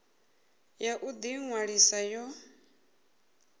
ya u ḓi ṅwalisa yo